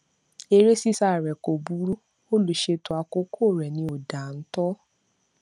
eré ṣíṣá re kò burú olùṣètò àkókò rẹ ni ò dáńtọ